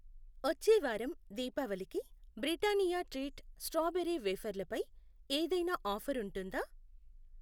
వచ్చే వారం దీపావళికి బ్రిటానియా ట్రీట్ స్ట్రాబెరీ వేఫర్లు పై ఏదైనా ఆఫర్ ఉంటుందా?